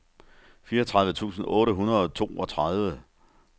fireogtredive tusind otte hundrede og toogtredive